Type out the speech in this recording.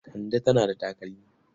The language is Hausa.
Kande tana da takalmi.